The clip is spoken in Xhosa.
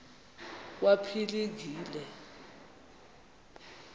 kwaphilingile